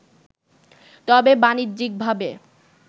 তবে বাণিজ্যিকভাবে